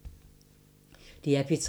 DR P3